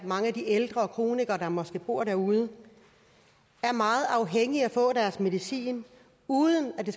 mange af de ældre og kronikere der måske bor derude er meget afhængige af at få deres medicin uden at det